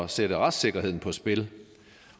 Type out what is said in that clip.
sætte retssikkerheden på spil